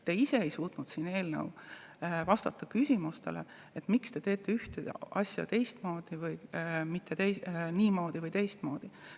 Te ise ei suutnud siin vastata küsimustele, miks te teete asja niimoodi teistmoodi.